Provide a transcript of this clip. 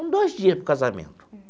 Um, dois dias para o casamento.